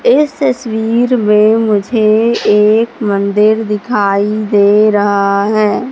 इस तस्वीर में मुझे एक मंदिर दिखाई दे रहा है।